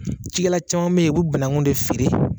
Cikɛla caman bɛ yen u bɛ banakun de feere.